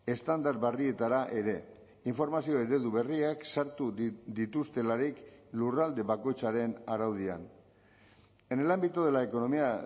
estandar berrietara ere informazio eredu berriak sartu dituztelarik lurralde bakoitzaren araudian en el ámbito de la economía